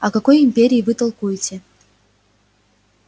о какой империи вы толкуете